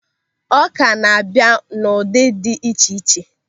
Ọ́kà na-abịa n'ụdị dị iche iche.